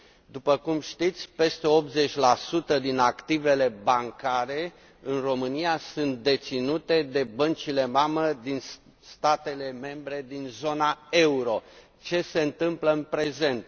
După cum știți, peste 80 din activele bancare din România sunt deținute de băncile mamă din statele membre din zona euro. Ce se întâmplă în prezent?